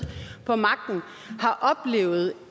på magten har oplevet